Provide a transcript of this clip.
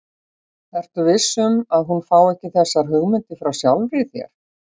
Ertu viss um, að hún fái ekki þessar hugmyndir frá sjálfri þér?